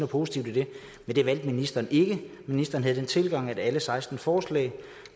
positivt i det men det valgte ministeren ikke ministeren havde den tilgang at man med alle seksten forslag